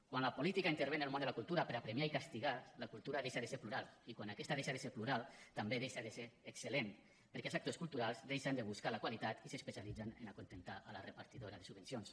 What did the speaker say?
quan la política intervé en el món de la cultura per a premiar i castigar la cultura deixa de ser plural i quan aquesta deixa de ser plural també deixa de ser excel·lent perquè els sectors culturals deixen de buscar la qualitat i s’especialitzen a acontentar la repartidora de subvencions